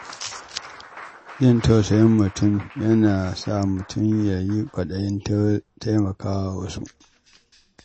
Jin tausayin mutum yana sa mutum yin ƙwaɗayin taimakawa wasu.